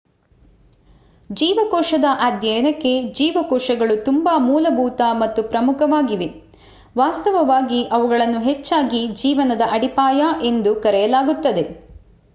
ಜೀವಕೋಶದ ಅಧ್ಯಯನಕ್ಕೆ ಜೀವಕೋಶಗಳು ತುಂಬಾ ಮೂಲಭೂತ ಮತ್ತು ಪ್ರಮುಖವಾಗಿವೆ ವಾಸ್ತವವಾಗಿ ಅವುಗಳನ್ನು ಹೆಚ್ಚಾಗಿ ಜೀವನದ ಅಡಿಪಾಯ ಎಂದು ಕರೆಯಲಾಗುತ್ತದೆ